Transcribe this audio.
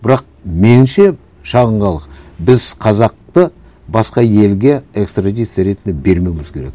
бірақ меніңше шағын халық біз қазақты басқа елге экстрадиция ретінде бермеуіміз керек